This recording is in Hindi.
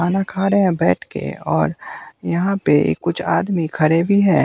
खाना खा रहे हैं बैठ के और यहाँ पे कुछ आदमी खड़े भी हैं।